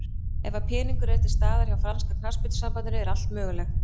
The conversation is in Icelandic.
Ef að peningar eru til staðar hjá franska knattspyrnusambandinu er allt mögulegt.